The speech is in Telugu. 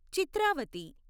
చిత్రావతి